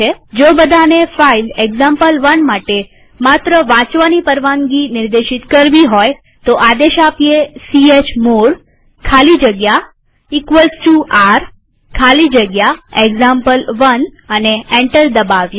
જો બધાને file example one માટે માત્ર વાંચવાની પરવાનગી નિર્દેશિત કરવી હોય તો આદેશ આપીએ ચમોડ ખાલી જગ્યા r ખાલી જગ્યા એક્ઝામ્પલ1 અને એન્ટર દબાવીએ